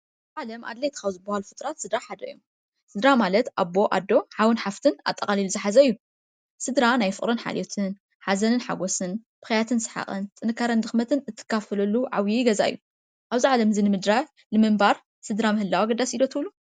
ኣብ ዓለም ኣድለይቲ ካብ ዝባሃሉ ፍጡራት ስድራ ሓደ እዩ። ስድራ ማለት ኣቦ፣ ኣዶ፣ ሓውን ሓፍትን ኣጠቃሊሉ ዝሓዘ እዩ። ስድራ ናይ ፍቕርን ሓልዮትን፣ ናይ ሓዘንን ሓጎስን፣ ብክያትን ሰሓቕን፣ ጥንካረን ድክመትን እትከፋፈለሉ ዓብይ ገዛ እዩ፣ ኣብዚ ዓለም እዚ ንምንባር ስድራ ምህላው ኣገዳሲ እዩ ዶ ትብሉ?